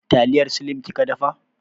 Taliyar slim kika dafa?